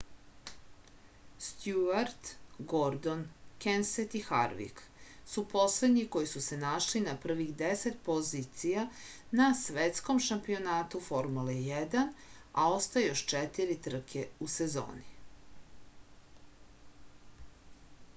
stjuart gordon kenset i harvik su poslednji koji su se našli na prvih deset pozicija na svetskom šampionatu formule 1 a ostaje još četiri trke u sezoni